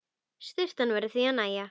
Sturtan verður því að nægja.